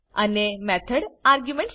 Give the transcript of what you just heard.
અને method argument સાથે